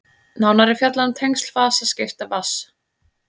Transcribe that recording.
nánar er fjallað um tengsl fasaskipta vatns